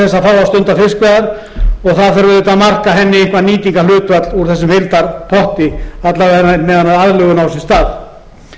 fá að stunda fiskveiðar og það þarf auðvitað að marka henni eitthvert nýtingarhlutfall úr þessum heildarpotti alla vega meðan aðlögun á sér stað